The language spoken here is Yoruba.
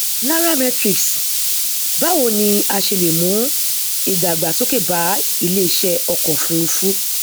nairametrics báwo ni a ṣe lè mú ìdàgbàsókè bá iléeṣẹ ọkọ ofurufú